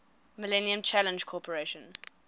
millennium challenge corporation